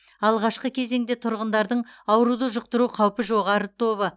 алғашқы кезеңде тұрғындардың ауруды жұқтыру қаупі жоғары тобы